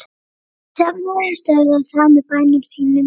Söfnuðurinn stöðvað það með bænum sínum.